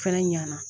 Fɛnɛ ɲina